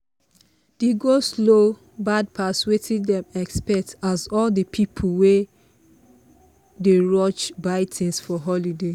the go-slow bad pass wetin them expect as all the pipu wey dey rush buy things for holiday